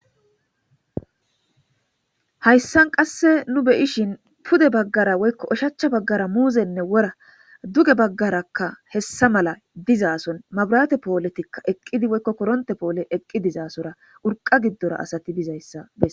hayssan qasse nu beyishin pude baggara woykko oshachcha baggara muuzenne wora duge baggarakka hessa mala dizaason mabirate pooletikka eqqidi woykko koronte poole eqqi dizaasora urqa giddora asati bizayssa bes